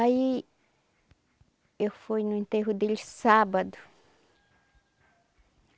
Aí, eu fui no enterro dele sábado.